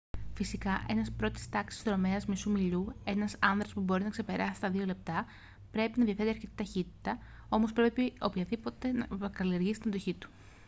φυσικά ένας πρώτης τάξης δρομέας μισού μιλιού ένας άνδρας που μπορεί να ξεπεράσει τα δύο λεπτά πρέπει να διαθέτει αρκετή ταχύτητα όμως πρέπει οπωσδήποτε να καλλιεργήσει την αντοχή του